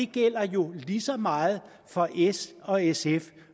gælder jo lige så meget for s og sf